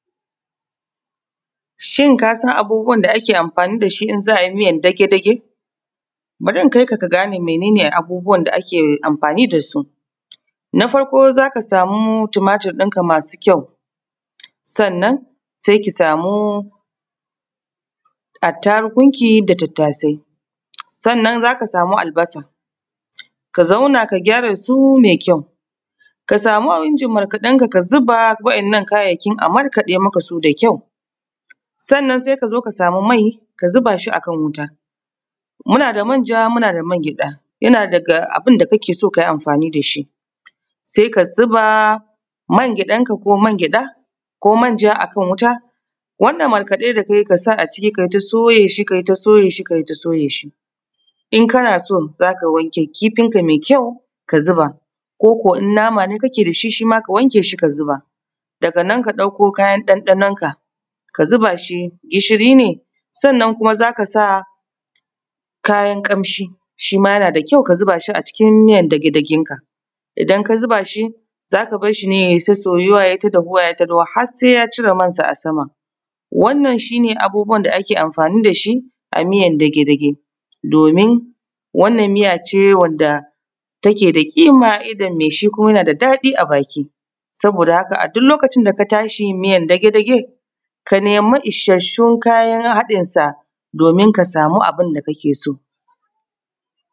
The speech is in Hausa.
Shin kasan abubuwan da ake amfani dashi in za ayi miyar dage-dage? bari in kaika ka gane meye ake amfani dasu. Na farko zaka samu tumatirin ka masu kyau, sannan sai ki samo attarugun ki da tattasai, sannan zaka samu albasa, ka zauna ka gyare su mai kyau. Ka samu injin markaɗen ka ka zuba waɗannan kayayyakin, a markaɗe maka su da kyau, sannan sai kazo ka samu mai ka zuba shi akan wuta, muna da manja muna da man gyaɗa, yana daga abunda kake so kayi amfani dashi. Sai ka zuba mangyaɗar ka ko mangyaɗa ko manja akan wuta, wannan markaɗe da kayi ka sa a ciki, kayi ta soye shi, kayi ta soye shi kayita soye shi. In kana so zaka wanke kifin ka mai kyau ka zuba ko kuwa in nama ne kake da shi shim aka wanke shi ka zuba. Daga nan ka ɗauko kayan ɗanɗanon ka ka zuba shi, gishiri ne sannan kuma zaka sa kayan ƙamshi, shi ma yana da kyau ka zuba shi acikin miyar dage-dagen ka, idan ka zuba shi zaka barshi ne ya yi ta soyuwa, ya yi ta dahuwa ya yi ta dahuwa har sai ya cire man sa a sama. Wannan shi ne abubuwan da ake amfani da shi a miyar dage-dage, domin wannan miya ce wanda take da ƙima a idon mai shi kuma yana da daɗi a baki, saboda haka, a duk lokacin da ka tashi miyar dage-dage ka nemi isassun kayan haɗin sa, domin ka samu abin da kake so.